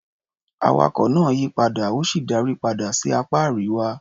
Awakọ̀ náà yí padà, ó sì darí padà sí apá Àríwá.